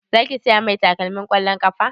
Za ki saya mai takalmin ƙwallon ƙafa?